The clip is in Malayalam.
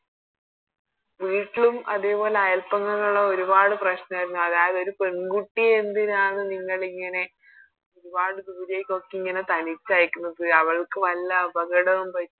വീട്ടിലും അതേപോലെ അയല്പക്കങ്ങളൊക്കെ ഒരുപാട് പ്രശ്നരുന്നു അതായത് ഒരു പെൺകുട്ടിയെ എന്തിനാണ് നിങ്ങളിങ്ങനെ ഒരുപാട് ദൂരെക്കൊക്കെ ഇങ്ങനെ തനിച്ചയക്കുന്നത് അവൾക്ക് വല്ല അപകടവും പ